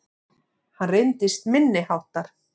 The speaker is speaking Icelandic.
Hann reyndist minniháttar